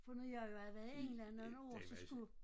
For nu jeg jo havde været i England nogle år så skulle